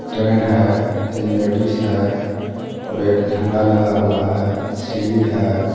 Train है तीन ladies है और एक झंडा लगा हुआ है सीडी है.